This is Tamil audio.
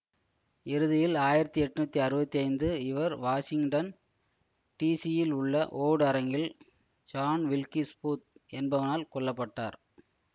இறுதியில் ஆயிரத்தி எட்ணூற்றி அறுபத்தி ஐந்து இவர் வாஷிங்டன் டிசி யில் உள்ள வோர்டு அரங்கில் ஜான் வில்கிஸ் பூத் என்பவனால் கொல்ல பட்டார்